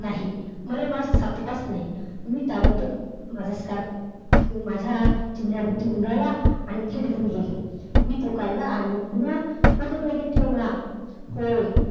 नाही, मला mask सापडलाच नाही. मी ताबडतोब माझा scarf माझ्या चेहऱ्याभोवती गुंडाळला आणि थेट घरी गेले. मी तो काढला आणि पुन्हा माझ्या bag मध्ये ठेवला. होय.